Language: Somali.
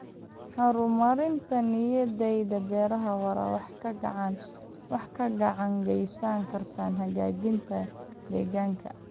Horumarinta nidaamyada beeraha waara waxay gacan ka geysan kartaa hagaajinta deegaanka.